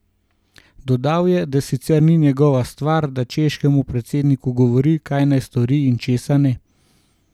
Dodal je, da sicer ni njegova stvar, da češkemu predsedniku govori, kaj naj stori in česa ne.